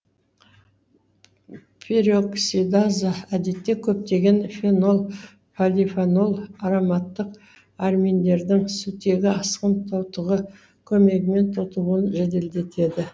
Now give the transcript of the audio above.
пероксидаза әдетте көптегең фенол полефенол ароматтық аминдердің сутегі асқын тотығы көмегімен тотығуын жеделдетеді